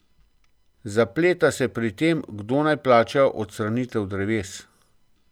Zapleta se pri tem, kdo naj plača odstranitev dreves.